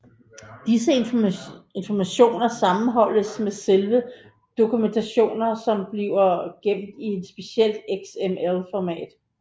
Disse informationer sammenholdes med selve dokumentationen som bliver gemt i et specielt XML format